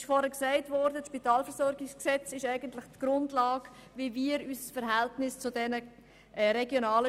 Wie vorhin erwähnt, ist eigentlich das SpVG die Grundlage für die Regelung des Verhältnisses zu den RSZ.